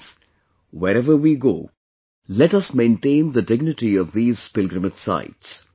Friends, wherever we go, let us maintain the dignity of these pilgrimage sites